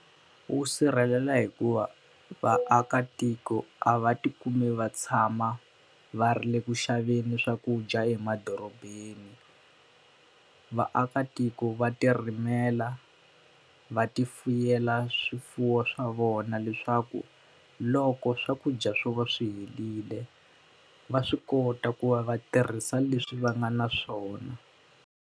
Wu sirhelela hikuva vaakatiko a va ti kumi va tshama va ri le ku xaveni swakudya emadorobeni. Vaakatiko va ti rimela, va ti fuweriwa swifuwo swa vona leswaku loko swakudya swo va swi helerile, va swi kota ku va va tirhisa leswi va nga na swona.